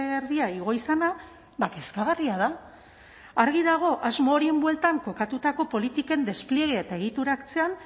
erdia igo izana kezkagarria da argi dago asmo horien bueltan kokatutako politiken despliege eta egitura hartzean